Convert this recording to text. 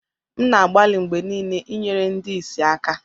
M na-agbalị mgbe niile inyere ndị ìsì aka